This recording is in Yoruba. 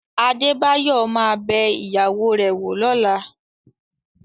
Adébáyọ̀ ma bẹ ìyàwó rẹ̀ wò lọ́la